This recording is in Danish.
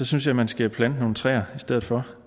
synes jeg man skal plante nogle træer i stedet for